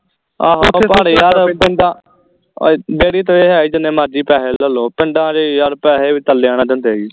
ਆਹੋ ਉਹ ਦਿਨ ਦਾ ਉਹ ਡੇਅਰੀ ਤੇ ਇਹ ਹੈ ਵੀ ਜਿੰਨੇ ਮਰਜੀ ਪੈਸੇ ਲੈ ਲਓ ਪਿੰਡਾਂ ਚ ਪੈਸੇ ਵੀ ਨਾਲ ਦਿੰਦੇ ਈ